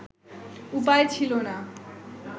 উপায় ছিলো না